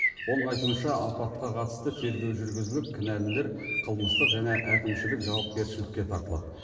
оның айтуынша апатқа қатысты тергеу жүргізіліп кінәлілер қылмыстық және әкімшілік жауапкершілікке тартылады